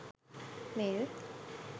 mail